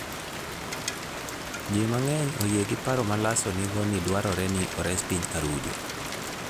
Ji mang'eny oyie gi paro ma Lasso nigo ni dwarore ni ores piny Arujo.